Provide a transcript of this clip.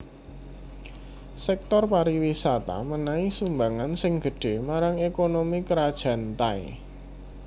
Sèktor pariwisata mènèhi sumbangan sing gedhé marang ékonomi Krajan Thai